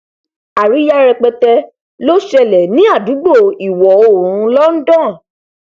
àríyá rẹpẹtẹ ló ṣẹlẹ ní àdúgbò ìwọoòrùn london